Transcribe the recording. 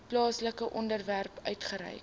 plaaslike owerheid uitgereik